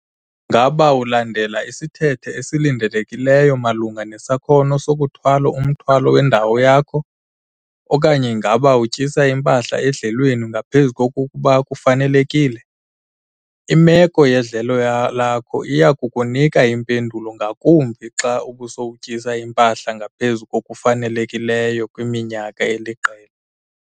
Ngaba ulandela isithethe esilindelekileyo malunga nesakhono sokuthwala umthwalo wendawo yakho okanye ngaba utyisa impahla edlelweni ngaphezu kokuba kufanelekile? Imeko yedlelo lakho iya kukunika impendulo ngakumbi xa ubusowutyisa impahla ngaphezu kokufanelekileyo kwiminyaka eliqela.